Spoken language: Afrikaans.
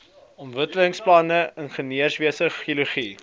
ontwikkelingsbeplanning ingenieurswese geologie